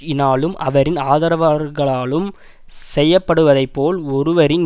இனாலும் அவரின் ஆதரவார்களாலும் செய்யப்படுவதைப்போல் ஒருவரின்